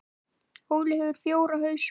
Óli hefur fjóra hausa.